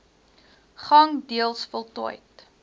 gang deels voltooid